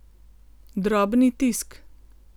Drobni tisk.